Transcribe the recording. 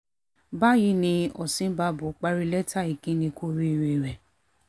báyìí ni ni osínbàbò parí lẹ́tà ìkíní kù oríire rẹ̀